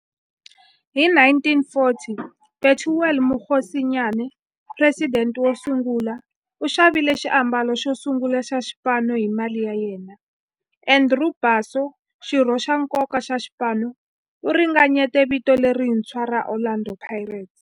Hi 1940, Bethuel Mokgosinyane, president wosungula, u xavile xiambalo xosungula xa xipano hi mali ya yena. Andrew Bassie, xirho xa nkoka xa xipano, u ringanyete vito lerintshwa ra 'Orlando Pirates'.